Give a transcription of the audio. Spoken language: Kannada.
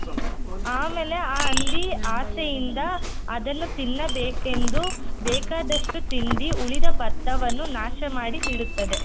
ಆಮೇಲೆ ಆ ಹಂದಿ ಆಸೆಯಿಂದ ಅದನ್ನು ತಿನ್ನಬೇಕೆಂದು ಬೇಕಾದಷ್ಟೂ ತಿಂದಿ ಉಳಿದ ಭತ್ತವನ್ನು ನಾಶ ಮಾಡಿ ಬಿಡುತ್ತದೆ.